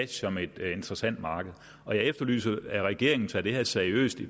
som et interessant marked og jeg efterlyser at regeringen tager det her seriøst i